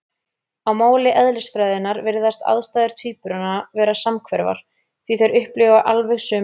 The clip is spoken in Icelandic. Á máli eðlisfræðinnar virðast aðstæður tvíburanna vera samhverfar, því þeir upplifa alveg sömu hluti.